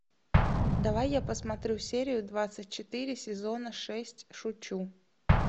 давай я посмотрю серию двадцать четыре сезона шесть шучу